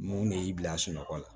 Mun de y'i bila sunɔgɔ la